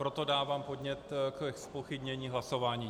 Proto dávám podnět ke zpochybnění hlasování.